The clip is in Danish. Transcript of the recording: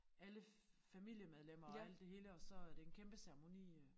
Alle familiemedlemmer og alt det hele og så er det en kæmpe ceremoni øh